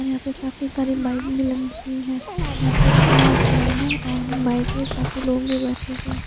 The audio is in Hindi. और यापे काफी सारी बाइक भी लम्बी हुई है यहा पे खुला आसमान है और बाइक में काफी लोग बेठे हुए है।